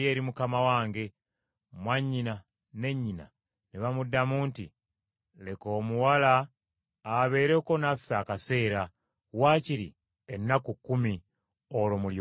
Mwannyina ne nnyina ne bamuddamu nti, “Leka omuwala abeereko naffe akaseera, wakiri ennaku kkumi, olwo mulyoke mugende.”